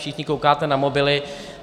Všichni koukáte na mobily.